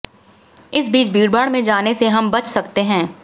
इस बीच भीड़भाड़ में जाने से हम बच सकते हैं